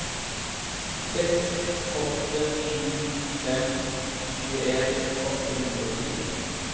seks åtte sju fem tjueen åtte hundre og fire